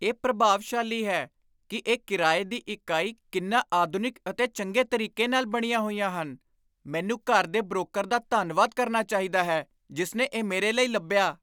ਇਹ ਪ੍ਰਭਾਵਸ਼ਾਲੀ ਹੈ ਕਿ ਇਹ ਕਿਰਾਏ ਦੀ ਇਕਾਈ ਕਿੰਨਾ ਆਧੁਨਿਕ ਅਤੇ ਚੰਗੇ ਤਰੀਕੇ ਨਾਲ ਬਣੀਆਂ ਹੋਈਆਂ ਹੈ! ਮੈਨੂੰ ਘਰ ਦੇ ਬਰੋਕਰ ਦਾ ਧੰਨਵਾਦ ਕਰਨਾ ਚਾਹੀਦਾ ਹੈ ਜਿਸ ਨੇ ਇਹ ਮੇਰੇ ਲਈ ਲੱਭਿਆ।